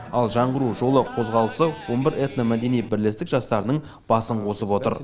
ал жаңғыру жолы қозғалысы он бір этномәдени бірлестік жастарының басын қосып отыр